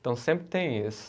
Então, sempre tem isso.